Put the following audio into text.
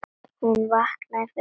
Hún vaknaði fyrir allar aldir.